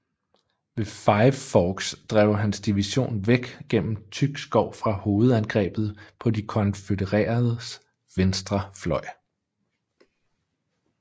Ved Five Forks drev hans division væk gennem tyk skov fra hovedangrebet på de konfødereredes venstre fløj